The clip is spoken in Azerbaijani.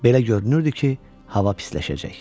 Belə görünürdü ki, hava pisləşəcək.